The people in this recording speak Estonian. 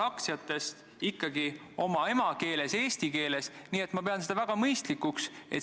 Aga küsimusele, mis mul oli, sain ma vastuse juba vastusest Helmeni eelmisele küsimusele.